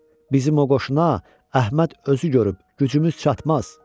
Bizim o qoşuna Əhməd özü görüb gücümüz çatmaz.